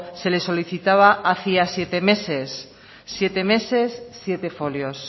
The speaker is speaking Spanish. se le solicitaba hacía siete meses siete meses siete folios